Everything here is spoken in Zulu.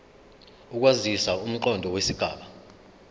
ukwandisa umqondo wesigaba